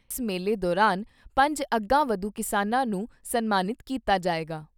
ਇਸ ਮੇਲੇ ਦੌਰਾਨ ਪੰਜ ਅਗਾਂਹਵਧੂ ਕਿਸਾਨਾਂ ਨੂੰ ਸਨਮਾਨਿਤ ਕੀਤਾ ਜਾਏਗਾ।